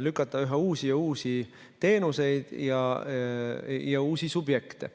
lükata üha uusi teenuseid ja subjekte.